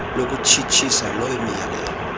lokutshitshisa loo miyalelo